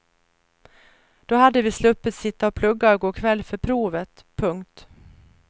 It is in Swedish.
Då hade vi sluppit sitta och plugga i går kväll för provet. punkt